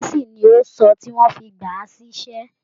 Gẹ̀ẹ́sì ni ó sọ tí wọ́n fi gbà á síṣẹ́